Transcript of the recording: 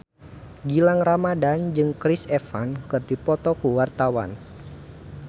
Gilang Ramadan jeung Chris Evans keur dipoto ku wartawan